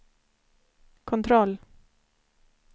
kontroll